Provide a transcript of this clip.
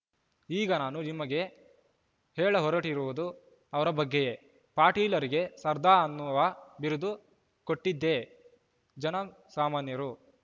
ಈಗ ನಾನು ನಿಮಗೆ ಹೇಳಹೊರಟಿರುವುದು ಅವರ ಬಗ್ಗೆಯೇ ಪಟೇಲರಿಗೆ ಸರ್ದಾರ್‌ ಅನ್ನುವ ಬಿರುದು ಕೊಟ್ಟಿದ್ದೇ ಜನ ಸಾಮಾನ್ಯರು